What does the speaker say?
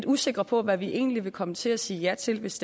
usikre på hvad vi egentlig vil komme til at sige ja til hvis